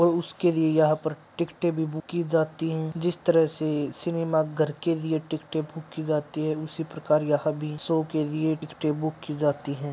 और उसके लिए यहाँ पर टिकटे भी बुक की जाती है जिस तरह से सिनेमा घर के लिए टिकटे बुक की जाती है उसी प्रकार यह भी शो के लिए टिकटे बुक की जाती हैं।